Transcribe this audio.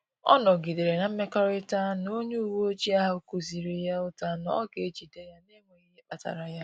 Ọ nọgidere na-emekọrịta na a onye uweojii ahụ kụziri ya ụta na ọ ga-ejide ya n’enweghị ihe kpatara y